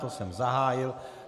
To jsem zahájil.